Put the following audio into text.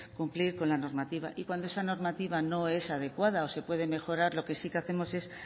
cumplir con la normativa y cuando esa normativa no es adecuada o se puede mejorar lo que sí que hacemos es